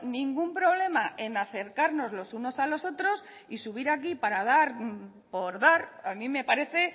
ningún problema en acercarnos los unos a los otros y subir aquí para dar por dar a mí me parece